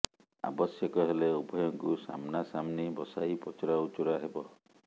ଆବଶ୍ୟକ ହେଲେ ଉଭୟଙ୍କୁ ସାମ୍ନାସାମ୍ନି ବସାଇ ପଚରା ଉଚରା ହେବ